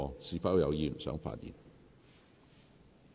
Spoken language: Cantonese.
是否有議員想發言？